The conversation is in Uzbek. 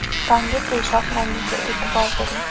Tonggi peshob rangiga e’tibor bering.